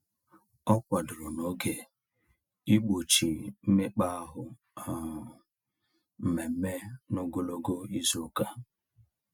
Ọ kwadoro n'oge igbochi mmekpaahụ um mmemme n'ogologo izuụka.